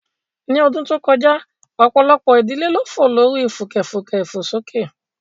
Ní ọdún tó kọjá, ọ̀pọ̀lọpọ̀ ìdílé ló fò lórí fùkẹ̀fùkẹ̀ ìfòsókè